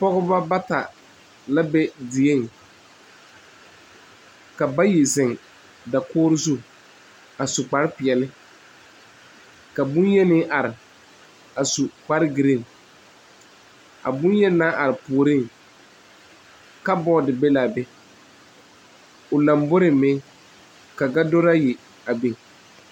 Pɔgeba bata la be dieŋ ka bayi zeŋ dakogri zu kparre peɛle ka boŋyeni are a su kpare gerene a boŋyeni naŋ are puoriŋ kaboo be la a be o lamboriŋ meŋ ka gadori ayi biŋ a be.